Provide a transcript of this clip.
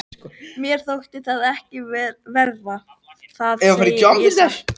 Mér þótti það ekki verra, það segi ég satt.